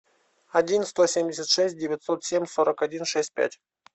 один сто семьдесят шесть девятьсот семь сорок один шесть пять